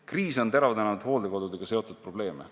Kriis on teravdanud hooldekodudega seotud probleeme.